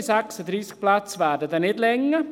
Die 36 Plätze werden nicht ausreichen.